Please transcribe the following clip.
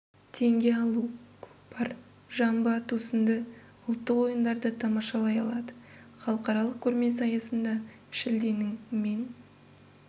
теңге алу көкпар жамбы ату сынды ұлттық ойындарды тамашалай алады халықаралық көрмесі аясында шілденің мен